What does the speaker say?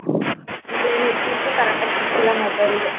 Network ಉ correct ಆಗ್ ಸಿಗ್ತಿಲ್ಲ mobile ಗೆ.